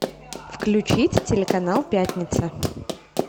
включить телеканал пятница